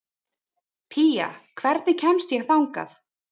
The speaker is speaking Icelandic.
Pía, hvernig kemst ég þangað?